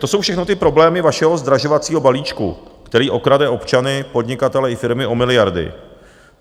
To jsou všechno ty problémy vašeho zdražovacího balíčku, který okrade občany, podnikatele i firmy o miliardy.